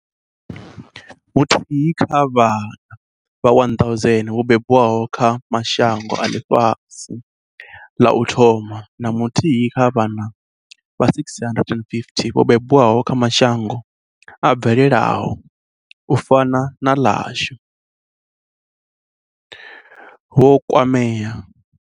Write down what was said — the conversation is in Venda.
Muthihi kha vhana vha 1 000 vho bebwaho kha mashango a ḽifhasi ḽa u thoma na muthihi kha vhana vha 650 vho bebwaho kha mashango a bvelelaho, u fana na ḽashu, vho kwamea.